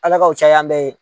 Ala k'u caya an bɛ ye